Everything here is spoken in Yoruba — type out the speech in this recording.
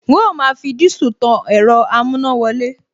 N óò máa fi dísù tan ẹ̀rọ amúnáwọlé